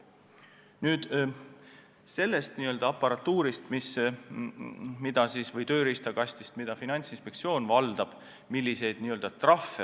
Nüüd sellest n-ö aparatuurist või tööriistakastist, mis Finantsinspektsiooni käsutuses on.